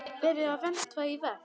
Verið og verndað og vermt.